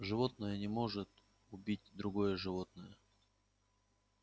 животное не может убить другое животное